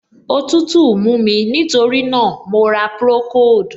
Òtútù mú mí, nítorí náà, mo ra procold.